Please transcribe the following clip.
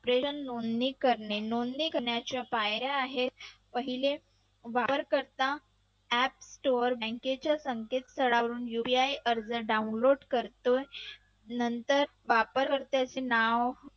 नोंदणी करणे नोंदणी करण्याच्या पायऱ्या आहेत. पहिले वापर करता app store bank चे संकेतस्थळावरून UPI अर्ज download करतोय नंतर वापरकर्त्याचे नाव